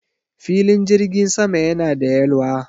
Filin jirgin sama yana da yalwa